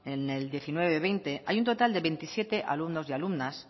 en el diecinueve barra veinte hay un total de veintisiete alumnos y alumnas